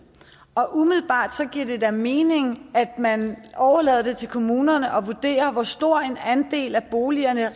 og umiddelbart giver det da mening at man overlader det til kommunerne at vurdere hvor stor en andel af boligerne